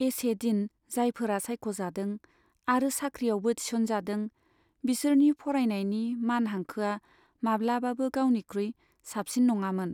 एसेदिन जायफोरा सायख'जादों आरो साख्रियावबो थिसनजादों बिसोरनि फरायनायनि मान हांखोआ माब्लाबाबो गावनिख्रुइ साबसिन नंआमोन।